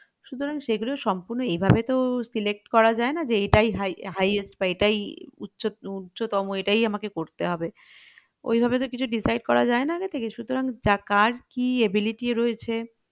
সুতরাং সেগুলো সুম্পূর্ণ এইভাবে তো select করা যায়না যে এটাই highest বা এইটাই উচ্চ~উচ্চতম এটাই আমাকে করতে হবে ঐভাবে তো কিছু decide করা যায়না আগে থেকে সুতরাং কার কি ability রয়েছে